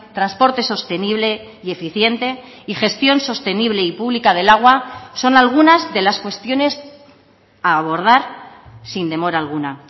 transporte sostenible y eficiente y gestión sostenible y pública del agua son algunas de las cuestiones a abordar sin demora alguna